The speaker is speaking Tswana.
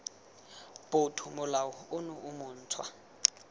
botho molao ono o montshwa